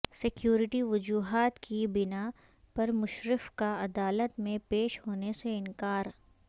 security وجوہات کی بنا پر مشرف کا عدالت میں پیش ہونے سے انکار